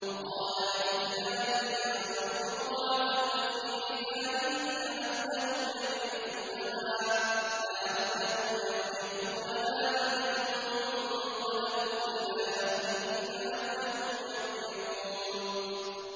وَقَالَ لِفِتْيَانِهِ اجْعَلُوا بِضَاعَتَهُمْ فِي رِحَالِهِمْ لَعَلَّهُمْ يَعْرِفُونَهَا إِذَا انقَلَبُوا إِلَىٰ أَهْلِهِمْ لَعَلَّهُمْ يَرْجِعُونَ